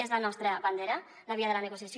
és la nostra bandera la via de la negociació